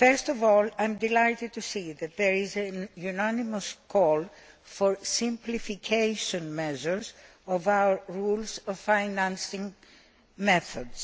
First of all, I am delighted to see that there is a unanimous call for simplification measures for our rules on financing methods.